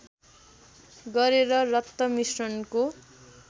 गरेर रक्त मिश्रणको